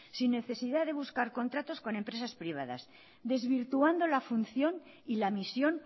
sin necesidad de buscar contratos con empresas privadas desvirtuando la función y la misión